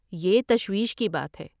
یہ تشویش کی بات ہے۔